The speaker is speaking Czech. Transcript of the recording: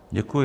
Děkuji.